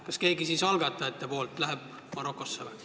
Kas siis keegi algatajatest läheb Marokosse?